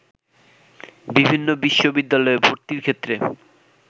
বিভিন্ন বিশ্ববিদ্যালয়ে ভর্তির ক্ষেত্রে